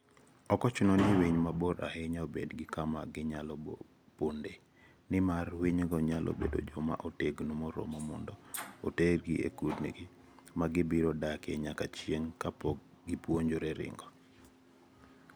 54. Ok ochuno ni winy mabor ahinya obed gi kama ginyalo pondoe, nimar winygo nyalo bedo joma otegno moromo mondo otergi e kundgi ma gibiro dakie nyaka chieng' kapok gipuonjore ringo.